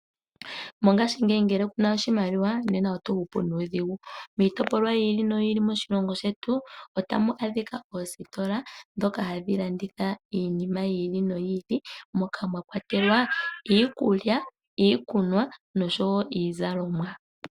Mongashingeyi ngele kuna oshimaliwa nena oto hupu nuudhigu. Miitopolwa yi ili noyi ili moshilongo shetu otamu adhika oositola dhoka hadhi landitha iinima yi ili noyi ili moka mwakwatelwa iikulya, iikunwa noshowo iizalomwa.